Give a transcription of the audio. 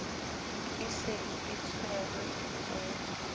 e se e tshwere o